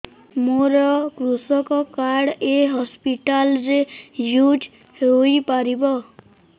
ମୋର କୃଷକ କାର୍ଡ ଏ ହସପିଟାଲ ରେ ୟୁଜ଼ ହୋଇପାରିବ